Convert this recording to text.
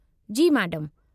जी, मैडमु।